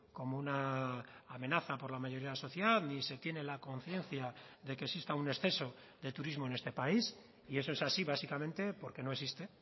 como una amenaza por la mayoría de la sociedad ni se tiene la conciencia de que exista un exceso de turismo en este país y eso es así básicamente porque no existe